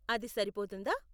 అది సరిపోతుందా?